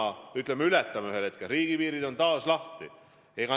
Kui me koroonakriisi ületame ühel hetkel, siis riigipiirid on taas lahti.